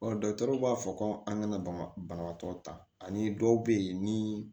dɔkitɛriw b'a fɔ ko an kana baba banabaatɔ ta ani dɔw bɛ yen ni